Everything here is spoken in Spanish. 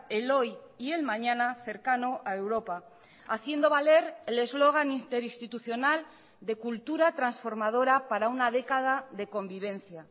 el hoy y el mañana cercano a europa haciendo valer el eslogan interinstitucional de cultura transformadora para una década de convivencia